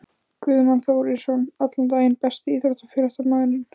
Guðmann Þórisson allan daginn Besti íþróttafréttamaðurinn?